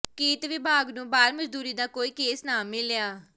ਕਿਰਤ ਵਿਭਾਗ ਨੂੰ ਬਾਲ ਮਜ਼ਦੂਰੀ ਦਾ ਕੋਈ ਕੇਸ ਨਾ ਮਿਲਿਆ